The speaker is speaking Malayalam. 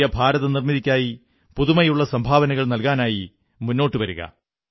പുതിയ ഭാരതനിർമ്മിതിക്കായി പുതുമയുള്ള സംഭാവനകൾ നല്കാനായി മുന്നോട്ടു വരുക